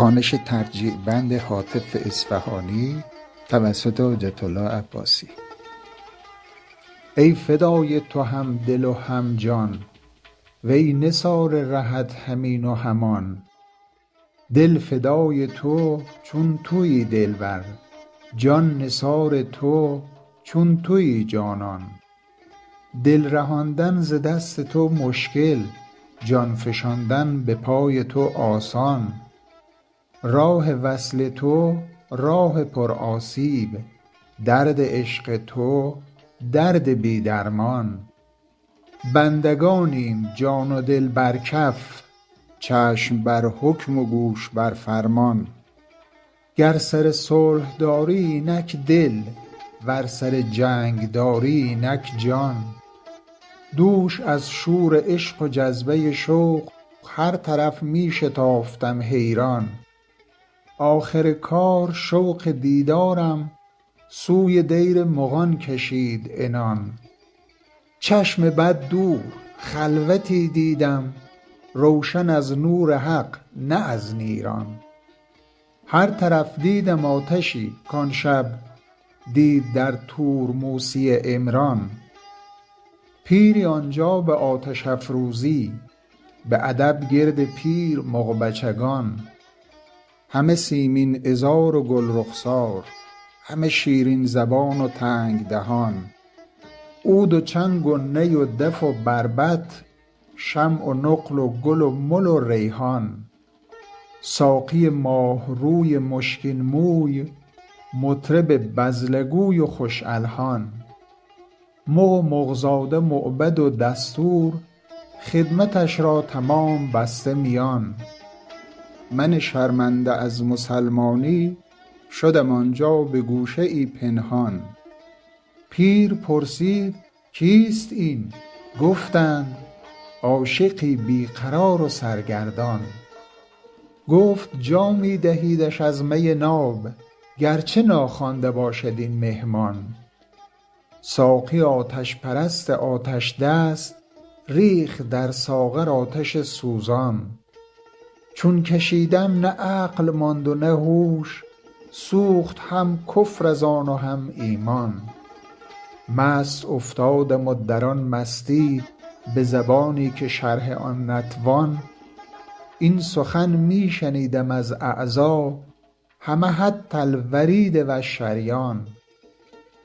ای فدای تو هم دل و هم جان وی نثار رهت هم این و هم آن دل فدای تو چون تویی دلبر جان نثار تو چون تویی جانان دل رهاندن ز دست تو مشکل جان فشاندن به پای تو آسان راه وصل تو راه پرآسیب درد عشق تو درد بی درمان بندگانیم جان و دل بر کف چشم بر حکم و گوش بر فرمان گر سر صلح داری اینک دل ور سر جنگ داری اینک جان دوش از شور عشق و جذبه ی شوق هر طرف می شتافتم حیران آخر کار شوق دیدارم سوی دیر مغان کشید عنان چشم بد دور خلوتی دیدم روشن از نور حق نه از نیران هر طرف دیدم آتشی کان شب دید در طور موسی عمران پیری آنجا به آتش افروزی به ادب گرد پیر مغ بچگان همه سیمین عذار و گل رخسار همه شیرین زبان و تنگ دهان عود و چنگ و نی و دف و بربط شمع و نقل و گل و مل و ریحان ساقی ماه روی مشکین موی مطرب بذله گوی و خوش الحان مغ و مغ زاده مؤبد و دستور خدمتش را تمام بسته میان من شرمنده از مسلمانی شدم آن جا به گوشه ای پنهان پیر پرسید کیست این گفتند عاشقی بی قرار و سرگردان گفت جامی دهیدش از می ناب گرچه ناخوانده باشد این مهمان ساقی آتش پرست آتش دست ریخت در ساغر آتش سوزان چون کشیدم نه عقل ماند و نه هوش سوخت هم کفر از آن و هم ایمان مست افتادم و در آن مستی —به زبانی که شرح آن نتوان— این سخن می شنیدم از اعضا —همه حتی الورید و الشریان—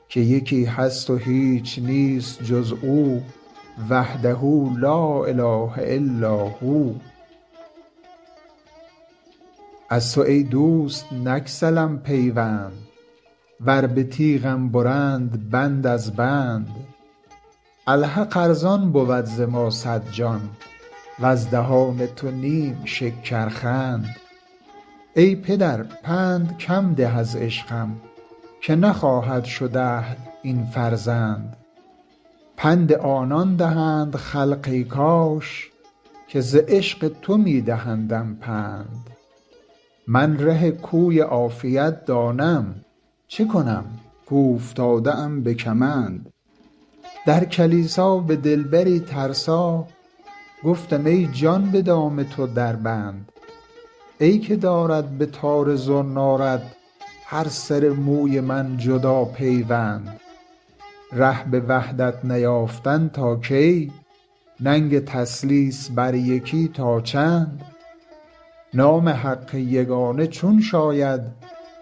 که یکی هست و هیچ نیست جز او وحده لا إله إلا هو از تو ای دوست نگسلم پیوند ور به تیغم برند بند از بند الحق ارزان بود ز ما صد جان وز دهان تو نیم شکرخند ای پدر پند کم ده از عشقم که نخواهد شد اهل این فرزند پند آنان دهند خلق —ای کاش— که ز عشق تو می دهندم پند من ره کوی عافیت دانم چه کنم کاوفتاده ام به کمند در کلیسا به دلبری ترسا گفتم ای جان به دام تو در بند ای که دارد به تار زنارت هر سر موی من جدا پیوند ره به وحدت نیافتن تا کی ننگ تثلیث بر یکی تا چند نام حق یگانه چون شاید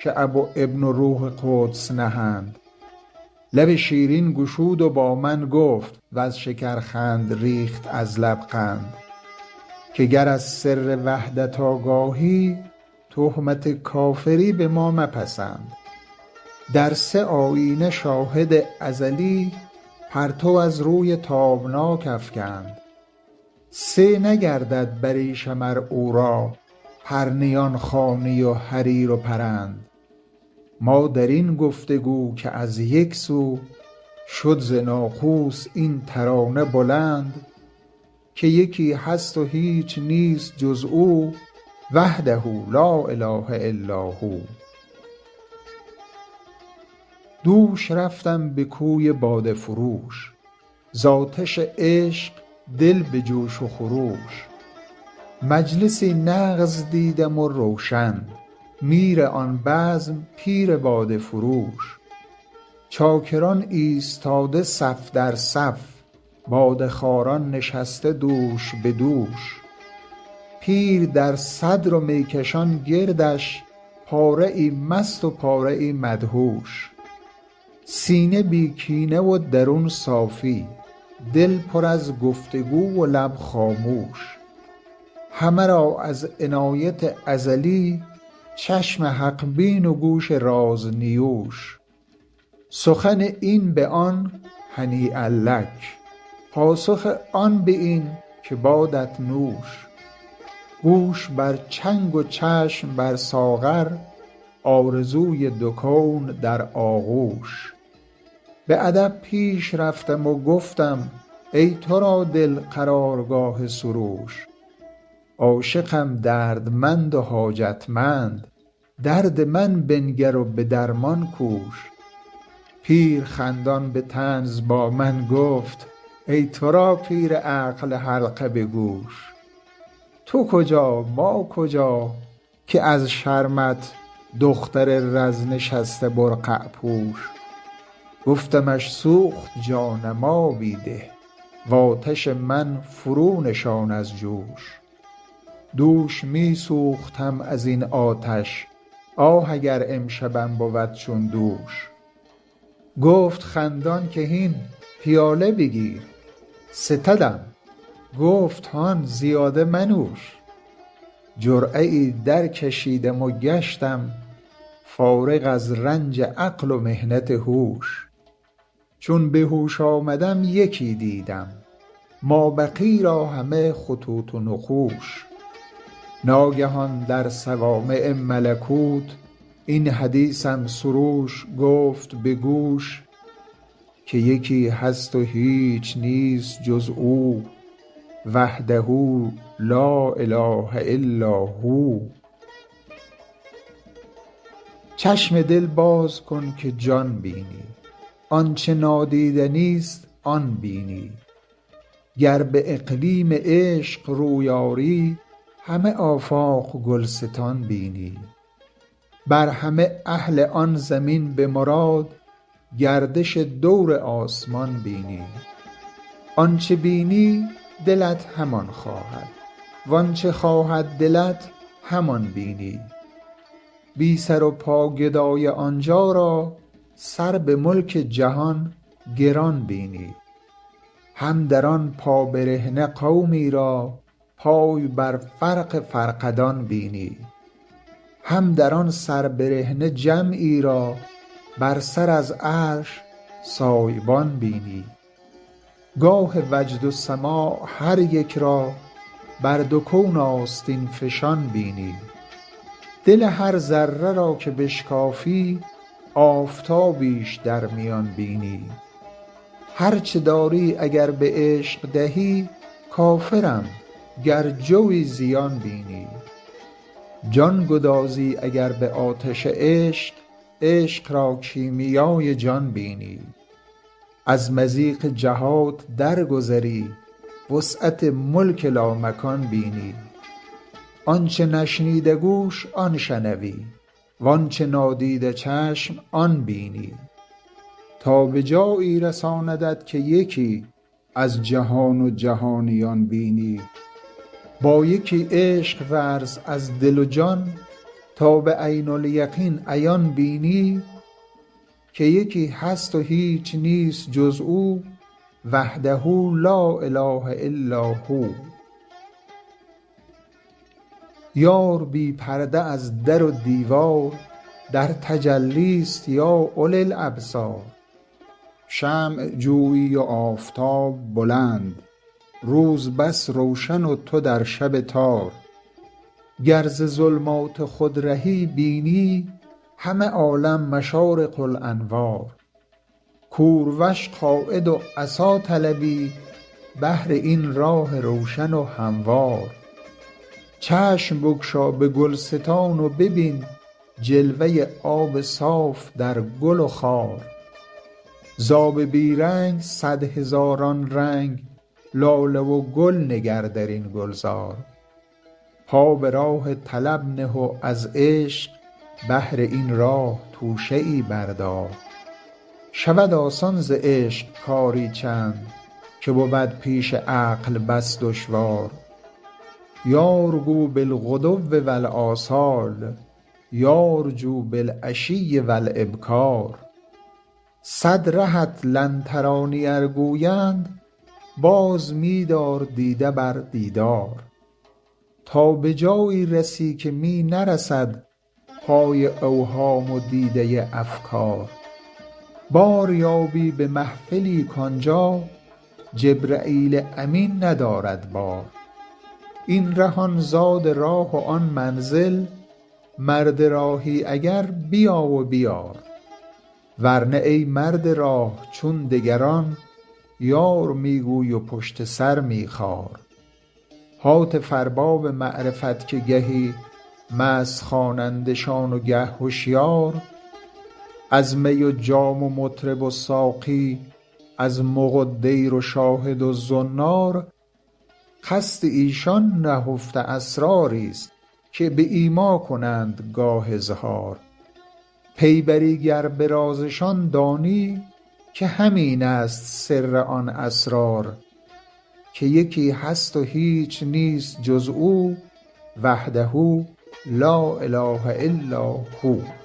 که اب و ابن و روح قدس نهند لب شیرین گشود و با من گفت —وز شکرخند ریخت از لب قند— که گر از سر وحدت آگاهی تهمت کافری به ما مپسند در سه آیینه شاهد ازلی پرتو از روی تابناک افگند سه نگردد بریشم ار او را پرنیان خوانی و حریر و پرند ما در این گفت و گو که از یک سو شد ز ناقوس این ترانه بلند که یکی هست و هیچ نیست جز او وحده لا إله إلا هو دوش رفتم به کوی باده فروش ز آتش عشق دل به جوش و خروش مجلسی نغز دیدم و روشن میر آن بزم پیر باده فروش چاکران ایستاده صف در صف باده خواران نشسته دوش به دوش پیر در صدر و می کشان گردش پاره ای مست و پاره ای مدهوش سینه بی کینه و درون صافی دل پر از گفت وگو و لب خاموش همه را از عنایت ازلی چشم حق بین و گوش رازنیوش سخن این به آن هنییا لک پاسخ آن به این که بادت نوش گوش بر چنگ و چشم بر ساغر آرزوی دو کون در آغوش به ادب پیش رفتم و گفتم ای تو را دل قرارگاه سروش عاشقم دردمند و حاجتمند درد من بنگر و به درمان کوش پیر خندان به طنز با من گفت ای تو را پیر عقل حلقه به گوش تو کجا ما کجا که از شرمت دختر رز نشسته برقع پوش گفتمش سوخت جانم آبی ده و آتش من فرونشان از جوش دوش می سوختم ازین آتش آه اگر امشبم بود چون دوش گفت خندان که هین پیاله بگیر ستدم گفت هان زیاده منوش جرعه ای درکشیدم و گشتم فارغ از رنج عقل و محنت هوش چون به هوش آمدم یکی دیدم مابقی را همه خطوط و نقوش ناگهان در صوامع ملکوت این حدیثم سروش گفت به گوش که یکی هست و هیچ نیست جز او وحده لا إله إلا هو چشم دل باز کن که جان بینی آنچه نادیدنی است آن بینی گر به اقلیم عشق روی آری همه آفاق گلستان بینی بر همه اهل آن زمین —به مراد— گردش دور آسمان بینی آن چه بینی دلت همان خواهد وآن چه خواهد دلت همان بینی بی سر و پا گدای آنجا را سر به ملک جهان گران بینی هم در آن پابرهنه قومی را پای بر فرق فرقدان بینی هم در آن سربرهنه جمعی را بر سر از عرش سایبان بینی گاه وجد و سماع هر یک را بر دو کون آستین فشان بینی دل هر ذره را که بشکافی آفتابیش در میان بینی هرچه داری اگر به عشق دهی کافرم گر جو یی زیان بینی جان گدازی اگر به آتش عشق عشق را کیمیای جان بینی از مضیق جهات درگذری وسعت ملک لامکان بینی آن چه نشنیده گوش آن شنوی وآن چه نادیده چشم آن بینی تا به جایی رساندت که یکی از جهان و جهانیان بینی با یکی عشق ورز از دل و جان تا به عین الیقین عیان بینی که یکی هست و هیچ نیست جز او وحده لا إله إلا هو یار بی پرده از در و دیوار در تجلی است یا أولی الأبصار شمع جویی و آفتاب بلند روز بس روشن و تو در شب تار گر ز ظلمات خود رهی بینی همه عالم مشارق الأنوار کوروش قاید و عصا طلبی بهر این راه روشن و هموار چشم بگشا به گلستان و ببین جلوه آب صاف در گل و خار ز آب بی رنگ صد هزاران رنگ لاله و گل نگر درین گلزار پا به راه طلب نه و از عشق بهر این راه توشه ای بردار شود آسان ز عشق کاری چند که بود پیش عقل بس دشوار یار گو بالغدو و الآصال یار جو بالعشي و الإبکار صد رهت لن تراني ار گویند باز می دار دیده بر دیدار تا به جایی رسی که می نرسد پای اوهام و دیده افکار بار یابی به محفلی کآن جا جبرییل امین ندارد بار این ره آن زاد راه و آن منزل مرد راهی اگر بیا و بیار ور نه ای مرد راه چون دگران یار می گوی و پشت سر می خار هاتف ارباب معرفت که گهی مست خوانندشان و گه هشیار از می و جام و مطرب و ساقی از مغ و دیر و شاهد و زنار قصد ایشان نهفته اسراری است که به ایما کنند گاه اظهار پی بری گر به رازشان دانی که همین است سر آن اسرار که یکی هست و هیچ نیست جز او وحده لا إله إلا هو